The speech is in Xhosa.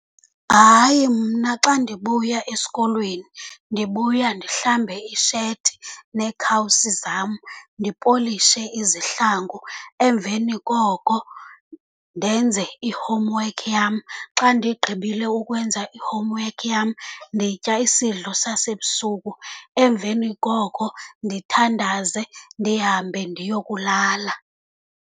Hayi, mna xa ndibuya esikolweni ndibuya ndihlambe isheti neekawusi zam, ndipolishe izihlangu, emveni koko ndenze i-homework yam. Xa ndigqibile ukwenza i-homework yam nditya isidlo sasebusuku, emveni koko ndithandaze, ndihambe ndiyokulala.